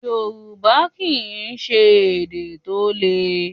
Yorùbá kìí ṣe èdè tó lè.